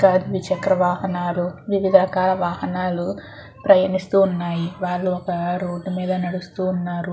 ద్వి చెక్ర వాహనల్లు వివిధ రకాల వాహనల్లు ప్రయాణిస్తున్నాయి వారు ఒక రోడ్ మీద నడుస్తూ ఉనారు.